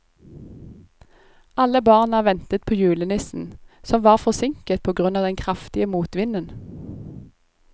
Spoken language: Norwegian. Alle barna ventet på julenissen, som var forsinket på grunn av den kraftige motvinden.